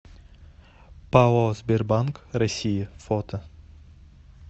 пао сбербанк россии фото